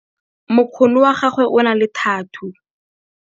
mokgono wa gagwe o na le thathuu